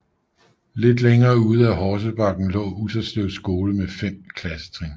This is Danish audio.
Lidt længere ude ad Horsebakken lå Utterslev Skole med 5 klassetrin